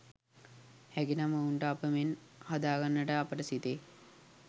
හැකිනම් ඔවුන්ව අප මෙන් හදාගන්නට අපට සිතේ.